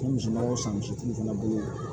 N ye misiw san misitigi fana bolo